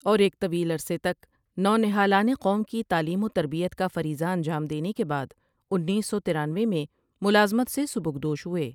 اور ایک طویل عرصے تک نونہالان قوم کی تعلیم وتربیت کا فریضہ انجام دینے کے بعد انیس سو ترانوے میں ملازمت سے سبکدوش ہوۓ ۔